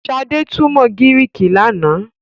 Shade túmọ Griiki lànà.